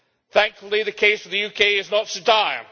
Thankfully, the case for the UK is not so dire.